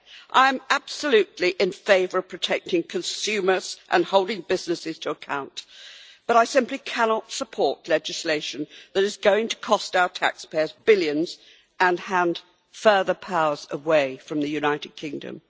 I am absolutely in favour of protecting consumers and holding businesses to account, but I simply cannot support legislation that is going to cost our taxpayers billions, and hand further powers away from the United Kingdom.